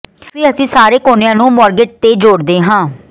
ਫਿਰ ਅਸੀਂ ਸਾਰੇ ਕੋਨਿਆਂ ਨੂੰ ਮੌਰਗੇਟ ਤੇ ਜੋੜਦੇ ਹਾਂ